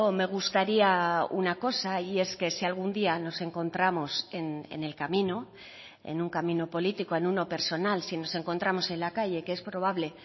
me gustaría una cosa y es que si algún día nos encontramos en el camino en un camino político en uno personal si nos encontramos en la calle que es probable